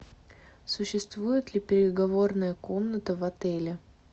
существует ли переговорная комната в отеле